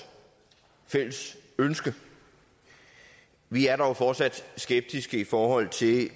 fælles ønske vi er dog fortsat skeptiske i forhold til